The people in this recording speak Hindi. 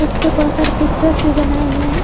उसे पे बहोत सारे पिक्चर्स भी बनाए हुए हैं।